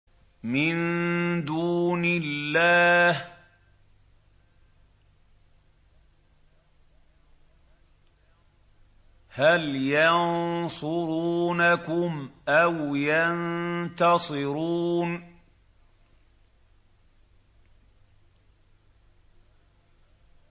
مِن دُونِ اللَّهِ هَلْ يَنصُرُونَكُمْ أَوْ يَنتَصِرُونَ